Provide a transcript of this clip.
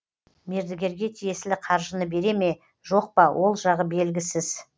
мердігерге тиесілі қаржыны бере ме жоқ па ол жағы белгісіз